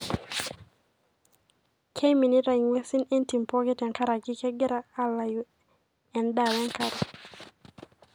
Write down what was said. keiminita ingwesin entim pooki tenkaraki kengira alayu endaa wenkare.